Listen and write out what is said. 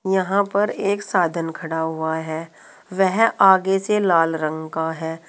यहां पर एक साधन खड़ा हुआ है वह आगे से लाल रंग का है।